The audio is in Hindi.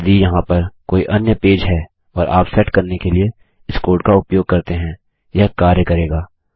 यदि यहाँ पर कोई अन्य पेज है और आप सेट करने के लिए इस कोड का उपयोग करते हैं यह कार्य करेगा